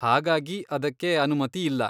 ಹಾಗಾಗಿ ಅದಕ್ಕೆ ಅನುಮತಿ ಇಲ್ಲ.